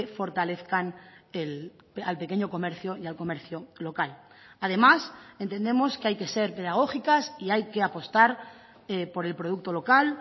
fortalezcan al pequeño comercio y al comercio local además entendemos que hay que ser pedagógicas y hay que apostar por el producto local